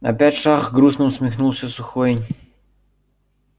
опять шах грустно усмехнулся сухой